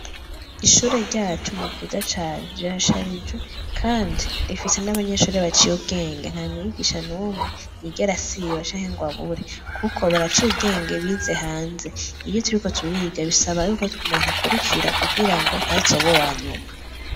Ishure ryacu ni ryiza cane, rirasharijwe kandi rifise n'abanyeshure baciye ubwenge. Nta mwigisha n'umwe yigera asiba canke ngo abure kuko baraciye ubwenge, bize hanze. Iyo turiko turiga, bisaba y'uko umuntu akurikira kugira ngo ntazobe uwanyuma.